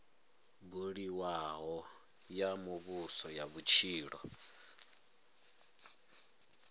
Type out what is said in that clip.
buliwaho ya muvhuso ya vhutshilo